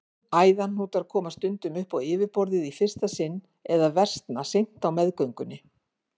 Æðahnútar koma stundum upp á yfirborðið í fyrsta sinn eða versna seint á meðgöngunni.